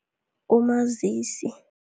Umazisi.